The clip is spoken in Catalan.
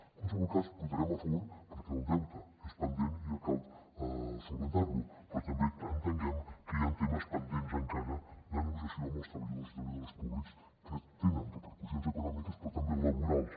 en qualsevol cas hi votarem a favor perquè el deute és pendent i cal solucionarlo però també entenguem que hi han temes pendents encara de negociació amb els treballadors i treballadores públics que tenen repercussions econòmiques però també laborals